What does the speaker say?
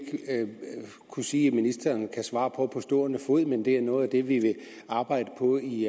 kunne sige at ministeren kan svare på på stående fod men det er noget af det vi vil arbejde på i